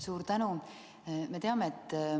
Suur tänu!